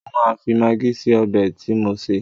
Mo máa fi magí sí ọbẹ̀ tí mò ń sè.